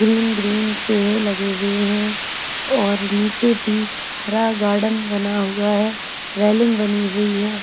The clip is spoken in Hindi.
ग्रीन - ग्रीन पेड़ लगे हुए हैं और नीचे भी हरा गार्डन बना हुआ है रेलिंग बनी हुई है।